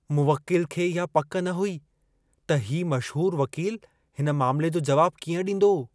मुवकिल खे इहा पक न हुई त हीउ मशहूरु वकीलु हिन मामिले जो जवाबु कीअं ॾींदो।